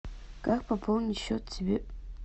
как пополнить счет себе